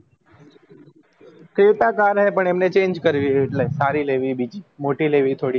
creta car હે પણ અમને change કરવી હે એટલે સારી લેવી હે બીજી મોટી લેવી થોડી